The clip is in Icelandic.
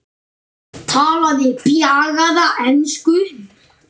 Talaði bjagaða ensku: